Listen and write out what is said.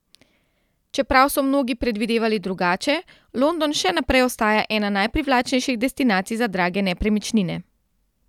Čeprav so mnogi predvidevali drugače, London še naprej ostaja ena najprivlačnejših destinacij za drage nepremičnine.